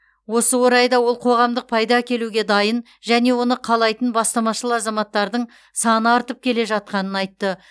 осы орайда ол қоғамдық пайда әкелуге дайын және оны қалайтын бастамашыл азаматтардың саны артып келе жатқанын айтты